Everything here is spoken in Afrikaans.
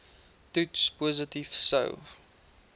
toets positief sou